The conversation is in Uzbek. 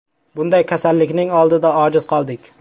Bunday kasallikning oldida ojiz qoldik.